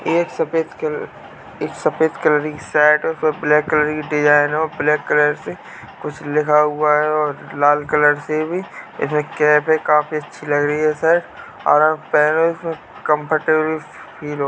एक सफ़ेद कलर एक सफ़ेद कलर की शर्ट पर ब्लैक कलर की डिज़ाइन है और ब्लैक कलर से कुछ लिखा हुआ है और लाल कलर से भी इसमे कैप है। काफी अच्छी लग रही है सर और आप पहनो इसमे कम्फर्टेबल फील --